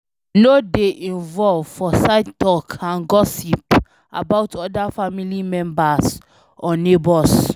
No dey involve for side talk and gossip about oda family members or neigbours